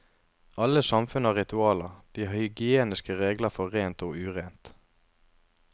Alle samfunn har ritualer, de har hygieniske regler for rent og urent.